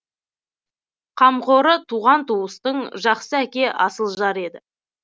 қамқоры туған туыстың жақсы әке асыл жар еді